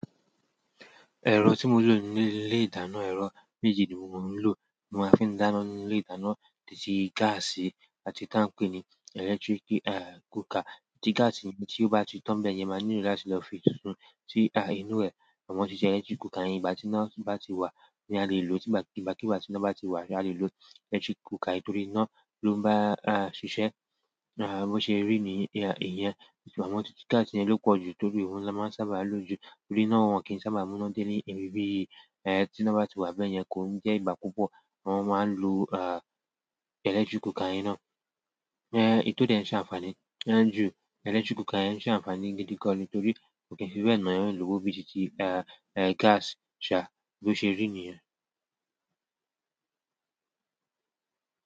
Ẹ̀rọ tí mo ń lò ní nu ilé ìdáná, ẹ̀rọ méjì ni mò ń lò. Mo máa ń fi dáná ní ilé ìdáná, títí gas àti tá ń pè ní electric, cooker. Tí gas mi tí ó bá ti tán bẹ́ẹ̀ yẹn, màá nílò lasi lọ fi sùn. Ti inú ẹ̀, àwọn ṣíṣe electric cooker yẹn ìgbà tí iná bá ti wà ni a lè lò ó. Tí ìgbà kí gbá ti iná bá ti wà ni a lè lò electric cooker ayé torí iná ló bá ṣiṣẹ́ bó ṣe rí ní ìyẹn. Ṣùgbọ́n títí gas yẹn ló pọ̀ jù torí òun ni a máa ń sábà lò ju torí iná òun kì í sábà múná dé ní ibi bí èyí. Eh, tí iná bá ti wà bẹ́ẹ̀ yẹn, kò ń jẹ́ ìgbà púpọ̀ wọn máa ń lo, ah, electric cooker yẹn ná. Eh, èyí tó dẹ́ n ṣe àǹfààní, ẹ́ ń ju electric cooker yẹn ṣe àǹfààní gidi gan ni torí ò kí n fi bé e na eeyan lòwo bíi tí, eh, eh, gas ṣa bó ṣe rí ní yẹn.